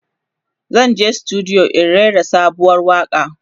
zanje studio in rera sabuwar waƙa